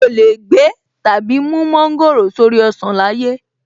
Mi ò lè gbé/ mú mọ́ńgòrò sórí ọsàn láyé!